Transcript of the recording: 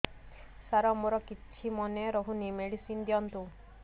ସାର ମୋର କିଛି ମନେ ରହୁନି ମେଡିସିନ ଦିଅନ୍ତୁ